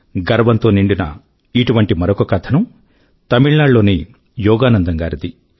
గర్వంతో నిండిన ఇటువంటి మరొక కథనం తమిళ నాడు లోని యోగానందన్ గారిది